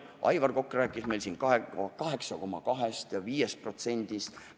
Aivar Kokk rääkis meil siin 8,2%-st ja 5%-st.